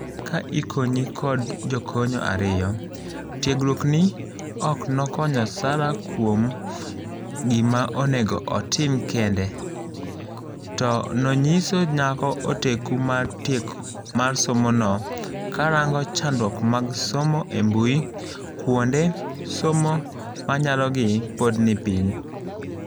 Ka ikonyi kod jokony ariyo, tiegruogni ok nokonyo Sara kuom gima onego otim kende, to nonyiso nyakaoteku mar somono karango chandruok mag somb mbuie kuonde somo manyalogi pod nipiny.